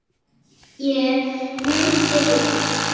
Ég mundi rétt.